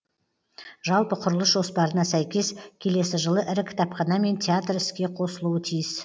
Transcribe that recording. жалпы құрылыс жоспарына сәйкес келесі жылы ірі кітапхана мен театр іске қосылуы тиіс